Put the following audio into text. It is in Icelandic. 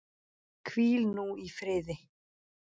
Hvíl nú í friði.